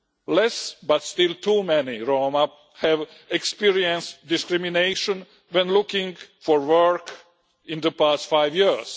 Less, but still too many Roma have experienced discrimination when looking for work in the past five years.